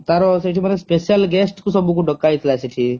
ତାର ସେଠି ମାନେ special guest ଙ୍କୁ ସବୁ ଙ୍କୁ ଡକା ହେଇଥିଲା ସବୁ ସେଠି